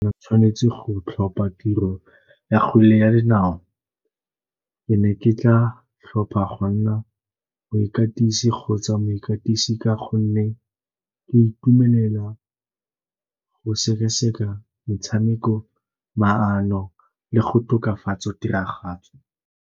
O tshwanetse go tlhopa tiro ya kgwele ya dinao. Ke ne ke tla tlhopha go nna moikatisi kgotsa moikatisi ka gonne ke itumelela go sekaseka metshameko, maano le go tokafatsa tiragatso.